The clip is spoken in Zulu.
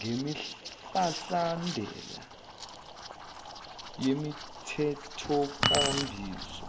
nemihlahlandela yemithethonkambiso